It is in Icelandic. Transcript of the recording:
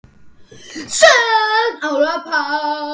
Sókn: Ólafur Páll